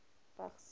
vigs